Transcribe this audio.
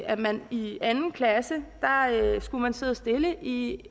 at man i anden klasse skulle sidde stille i